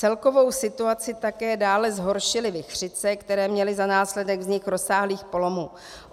Celkovou situaci také dále zhoršily vichřice, které měly za následek vznik rozsáhlých polomů.